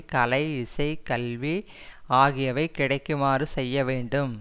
கலை இசை கல்வி ஆகியவை கிடைக்குமாறு செய்ய வேண்டும்